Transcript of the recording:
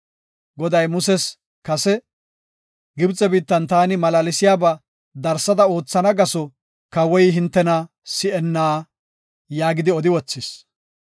Goday muses kase, “Gibxe biittan taani malaalsiyaba darsada oothana gaso kawoy hintena si7enna” yaagidi odi wothis.